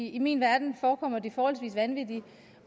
i min verden forekommer de forholdsvis vanvittige